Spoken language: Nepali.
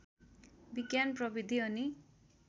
विज्ञान प्रविधि अनि